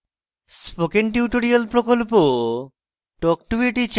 spoken tutorial প্রকল্প talk to a teacher প্রকল্পের অংশবিশেষ